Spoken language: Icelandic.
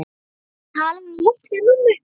Svo talaði hún lágt við mömmu.